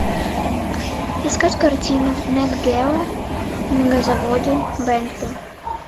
искать картину нат гео мегазаводы бентли